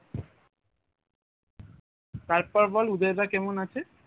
তার পর বল উদয় দা কেমন আছে?